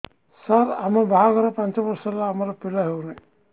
ସାର ଆମ ବାହା ଘର ପାଞ୍ଚ ବର୍ଷ ହେଲା ଆମର ପିଲା ହେଉନାହିଁ